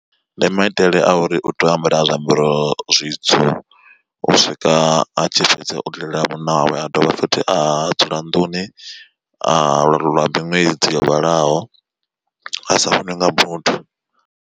Ndi maitele a uri u tea u ambara zwiambaro zwitswu u swika a tshi fhedza u lilela munna wawe a dovha futhi a dzula nḓuni lwa miṅwedzi yo vhalaho a sa vhoniwi nga muthu.